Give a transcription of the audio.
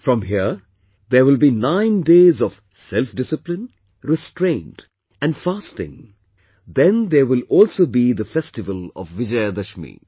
From here, there will be nine days of self discipline, restraint and fasting, then there will also be the festival of Vijayadashami